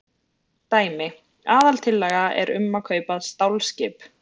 Dæmi: Aðaltillaga er um að kaupa stálskip.